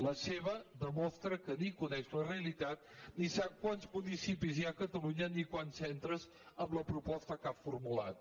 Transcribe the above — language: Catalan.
la seva demostra que no ni coneix la realitat ni sap quants municipis hi ha a catalunya ni quants centres amb la proposta que ha formulat